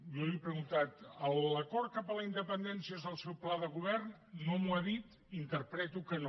jo li he preguntat l’acord cap a la independència és el seu pla de govern no m’ho ha dit interpreto que no